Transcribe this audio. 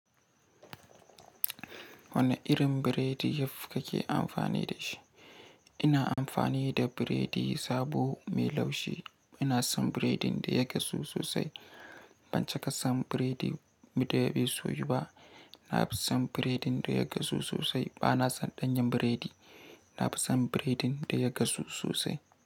Wane irin biredi yaf kake amfani da shi? Ina amfani da biredi sabo mai laushi. Ina son biredin da ya gasu sosai. Ban caka son biredin da ya fi soyu ba. Na fi son biredin da ya gasu sosai. Ba na son danyen biredi. Na fi son biredin da ya gasu sosai.